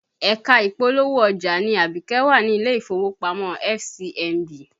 Ẹ̀ka ìpolówó ọjà ni Abike wà ní ilé ìfowópamọ́ FCMB